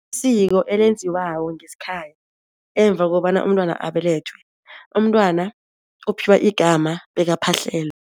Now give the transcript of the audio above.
Siko elenziwako ngesikhaya, emva kobana umntwana abelethwe, umntwana uphiwa igama bekaphahlelwe.